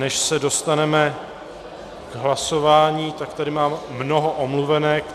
Než se dostaneme k hlasování, tak tady mám mnoho omluvenek.